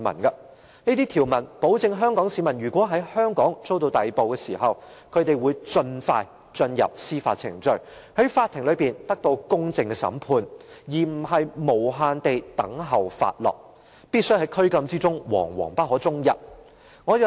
這項條文保障香港市民如果在香港遭到逮捕時，會盡快進入司法程序，在法庭得到公正的審判，而不會無限期等候發落，在拘禁中惶惶不可終日。